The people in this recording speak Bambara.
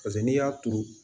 Paseke n'i y'a turu